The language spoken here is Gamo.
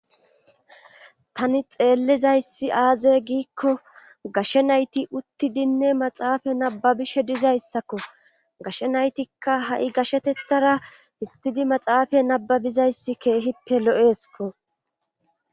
tani xeellizayssi aaze giikko gashe nayti utti dinne maxaafa nababishe dizayssakko gashe naytikka ha7i gashetethara histidi maxaafa nababizayssi keehippe lo7esiko